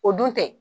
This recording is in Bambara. O dun tɛ